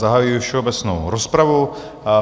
Zahajuji všeobecnou rozpravu.